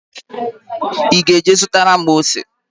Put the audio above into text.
Ị ga-eje zụtara m ose?